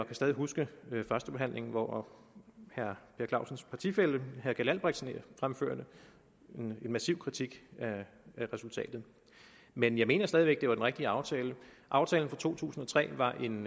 kan stadig huske førstebehandlingen hvor herre per clausens partifælle herre keld albrechtsen fremførte en massiv kritik af resultatet men jeg mener stadig væk det var den rigtige aftale aftalen fra to tusind og tre var en